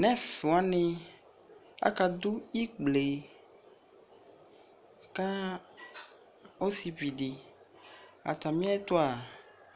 nɛswani aka ɖʋ ikple'kaɔsiviɖiAtɛmitʋa,